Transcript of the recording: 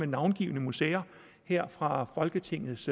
navngivne museer her fra folketingets